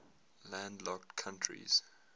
landlocked countries